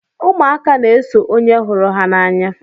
Ụmụaka na-eso onye hụrụ ha n'anya.